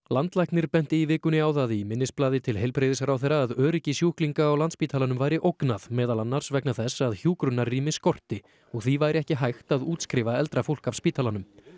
landlæknir benti í vikunni á það í minnisblaði til heilbrigðisráðherra að öryggi sjúklinga á Landspítalanum væri ógnað meðal annars vegna þess að hjúkrunarrými skorti og því væri ekki hægt að útskrifa eldra fólk af spítalanum